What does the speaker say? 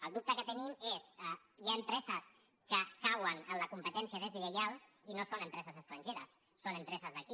el dubte que tenim és hi ha empreses que cauen en la competència deslleial i no són empreses estrangeres són empreses d’aquí